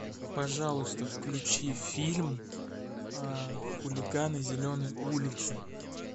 пожалуйста включи фильм хулиганы зеленой улицы